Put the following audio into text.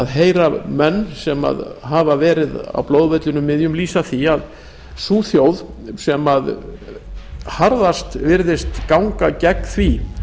heyra menn sem hafa verið á blóðvellinum að sú þjóð sem harðast virðist ganga gegn því